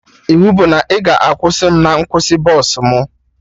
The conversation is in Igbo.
Iwu bụ na ị ga-akwụsị mụ na nkwụsị bọsụ mụ